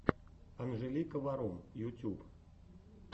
анжелика варум ютюб